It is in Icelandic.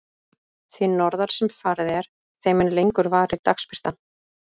Því norðar sem farið er, þeim mun lengur varir dagsbirtan.